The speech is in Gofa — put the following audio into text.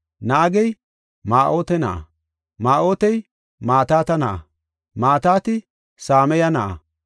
Naagey Ma7aate na7a, Ma7aatey Mataata na7a, Mataati Samaye na7a,